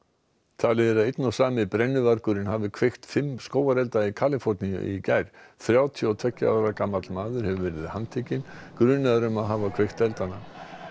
talið er að einn og sami brennuvargurinn hafi kveikt fimm skógarelda í Kaliforníu í gær þrjátíu og tveggja ára gamall maður hefur verið handtekinn grunaður um að hafa kveikt eldana